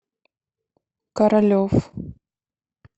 королев